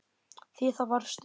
Því það varstu.